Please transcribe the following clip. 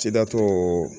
Sidatɔ